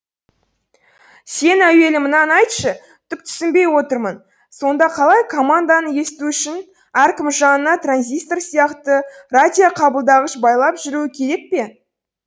сен әуелі мынаны айтшы түк түсінбей отырмын сонда қалай команданы есту үшін әркім жанына транзистор сияқты радиоқабылдағыш байлап жүруі керек пе